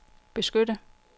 beskytte